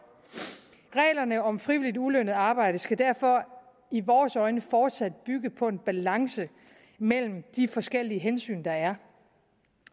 reglerne om frivilligt ulønnet arbejde skal derfor i vores øjne fortsat bygge på en balance mellem de forskellige hensyn der er